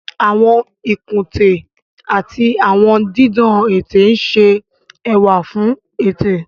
Àwọn ikunte ati awọn didan ete n ṣe ẹwa fun ete.